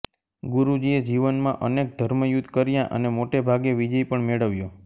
ગુરુજીએ જીવનમાં અનેક ધર્મયુદ્ધ કર્યા અને મોટાભાગે વિજય પણ મેળવ્યો